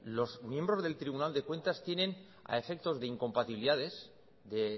los miembros del tribunal de cuentas tienen a efectos de incompatibilidades de